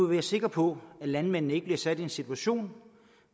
være sikre på at landmændene ikke blev sat i en situation